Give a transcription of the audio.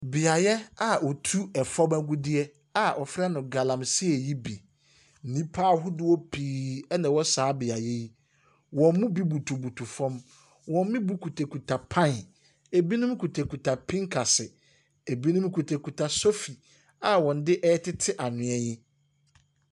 Beaeɛ a wɔtu efam agudie a wɔfrɛ no galamsey yi bi. Nnipa ahodoɔ pii ɛna ɛwɔ saa beaeɛ yi. Wɔn mu bi butubutu fam, wɔn mu bi kuta pan, ebinom kuta pinkasi, ebinom kuta sofi a wɔde ɛtete anwea yi.